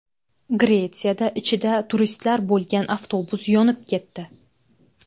Gretsiyada ichida turistlar bo‘lgan avtobus yonib ketdi .